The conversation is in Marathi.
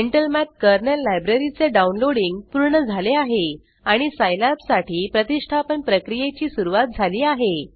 इंटेल मठ कर्नल लायब्ररी चे डाउनलोडिंग पूर्ण झाले आहे आणि सिलाब साठी प्रतिष्ठापन प्रक्रियेची सुरवात झाली आहे